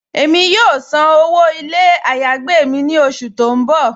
Ẹ̀mi yóò sàn owó ilẹ̀ ayé-agbè ni ọṣù tí n bọ́.